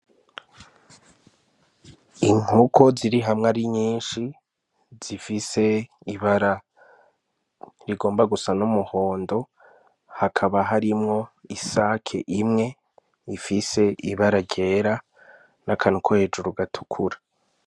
Inkoko ziri hamwe ari nyinshi zifise ibara rigomba gusa n' umuhondo hakaba harimwo isake imwe ifise ibara ryera n' akantu ko hejuru gatukura.